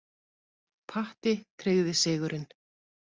Patti tryggði sigurinn.